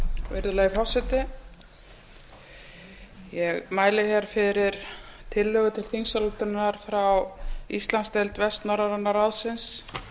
virðulegi forseti ég mæli hér fyrir tillögu til þingsályktunar rá íslandsdeild vestnorræna ráðsins